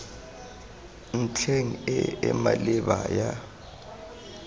ntlheng e e maleba ya